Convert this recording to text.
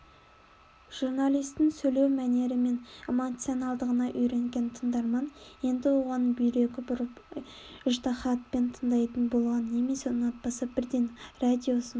журналистің сөйлеу мәнері мен эмоциональдығына үйренген тыңдарман енді оған бүйрегі бұрып ыждаһатпен тыңдайтын болған немесе ұнатпаса бірден радиосын